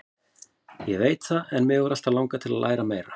Ég veit það en mig hefur alltaf langað til að læra meira.